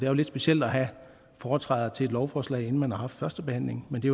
jo lidt specielt at have foretræder til et lovforslag inden man har haft førstebehandlingen men det